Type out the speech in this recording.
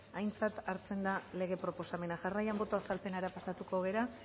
aintzat hartzen da lege proposamena jarraian boto azalpenera pasako gara